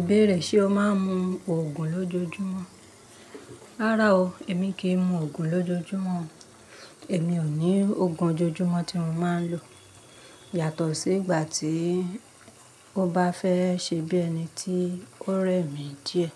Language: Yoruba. Ìbéèrè ṣe o máa ń mu Ògùn lójoojúmọ́? Rárá o, èmi kì í mu Ògùn lójoojúmọ́ o. Èmi ò ní Ògùn ojoojúmọ́ tí mo máa ń lò yàtọ̀ sí ìgbà tí ó bá fẹ́ ṣe bí ẹni tí ó rẹ̀ mí díẹ̀